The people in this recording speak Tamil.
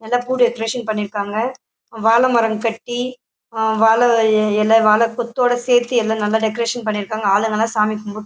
நல்லா பூ டெக்ரேஷன் பண்ணிருக்காங்க. வாழ மரம் கட்டி வாழ இல வாழ கொத்தோட சேத்து எல்லா நல்லா டெக்ரேஷன் பண்ணிருக்காங்க. ஆளுங்கலாம் சாமி கும்புட்--